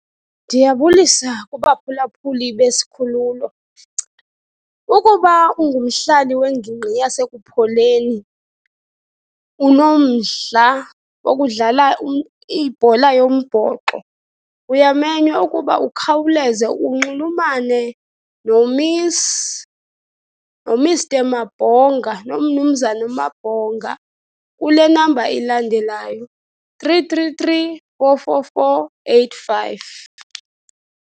Ndiyabulisa kubaphulaphuli besikhululo. Ukuba ungumhlali wengingqi yaseKupholeni, unomdla wokudlala ibhola yombhoxo, uyamenywa ukuba ukhawuleze unxulumane noMiss, noMs, noMr Mabhonga, noMnumzana uMabhonga, kule number ilandelayo three three three, four four four, eight five.